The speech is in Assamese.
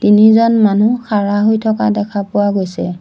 নিজন মানুহ খাড়া হৈ থকা দেখা পোৱা গৈছে।